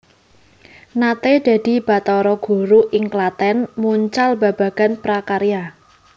Naté dadi batara guru ing Klatèn mucal babagan prakarya